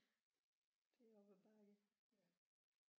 Det er op ad bakke